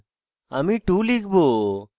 আমি 2 লিখব